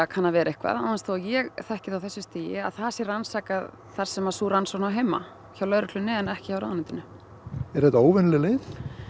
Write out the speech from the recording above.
kann að vera eitthvað án þess þó að ég þekki það á þessu stigi að það sé rannsakað þar sem sú rannsókn á heima hjá lögreglunni en ekki hjá ráðuneytinu er þetta óvenjuleg